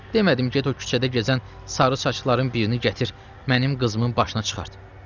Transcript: Demədim get o küçədə gəzən sarı saçların birini gətir, mənim qızımın başına çıxart.